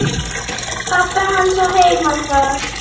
Pabbi hans á heima þar.